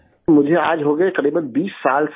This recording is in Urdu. مجھے آج ہو گئے تقریباً 20 سال سر